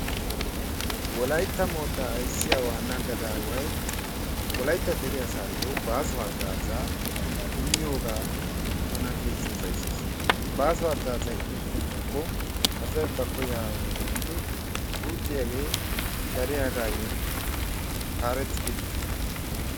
Wolaytta moottaa ayssiyaa waanna gadaaway wolaytta dere asayoo baaso hagazzaa immiyogaa tana keehi upayssees. Ha baaso hagazzay immettenaako asay ba koyaa haanidi guuxxiyaagee dariyaagayoo haarettidi de'ees.